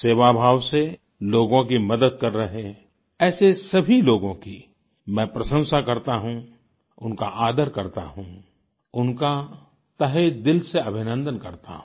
सेवाभाव से लोगों की मदद कर रहे ऐसे सभी लोगों की मैं प्रशंसा करता हूँ उनका आदर करता हूँ उनका तहेदिल से अभिनन्दन करता हूँ